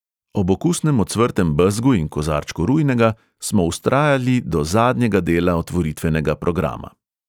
Ob okusnem ocvrtem bezgu in kozarčku rujnega smo vztrajali do zadnjega dela otvoritvenega programa.